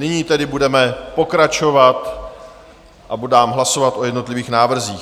Nyní tedy budeme pokračovat a dám hlasovat o jednotlivých návrzích.